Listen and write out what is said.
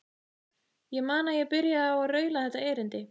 Ég man að ég byrjaði á að raula þetta erindi